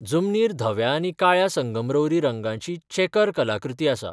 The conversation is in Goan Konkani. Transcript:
जमनीर धव्या आनी काळ्या संगमरवरी रंगाची चेकर कलाकृती आसा.